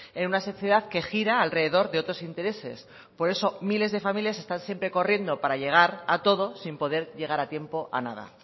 en una sociedad que gira alrededor de otros intereses por eso miles de familias están siempre corriendo para llegar a todo sin poder llegar a tiempo a nada